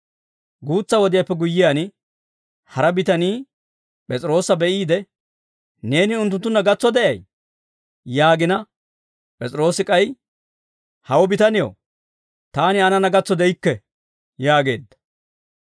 Guutsa wodiyaappe guyyiyaan, hara bitanii P'es'iroosa be'iide, «Neeni unttunttunna gatso de'aa» yaagina: P'es'iroosi k'ay, «Hawo bitanew, taani aanana gatso de'ikke» yaageedda.